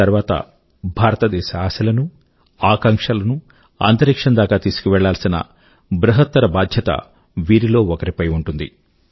ఆ తర్వాత భారతదేశ ఆశలనూ ఆకాంక్షల నూ అంతరిక్షం దాకా తీసుకువెళ్ళాల్సిన బృహత్తర బాధ్యత వీరిలో ఒకరిపై ఉంటుంది